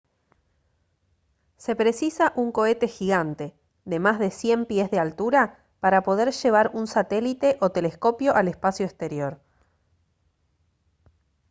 se precisa un cohete gigante de más de 100 pies de altura para poder llevar un satélite o telescopio al espacio exterior